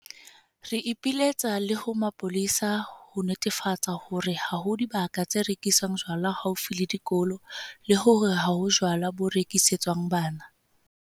Re ipiletsa le ho mapolesa ho netefatsa hore ha ho dibaka tse rekisang jwala haufi le dikolo le hore ha ho jwala bo rekisetswang bana.